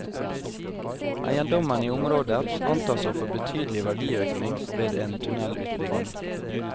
Eiendommene i området antas å få betydelig verdiøkning ved en tunnelutbygging.